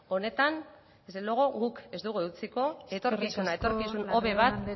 honetan desde luego guk ez dugu eutsiko etorkizuna etorkizun hobe bat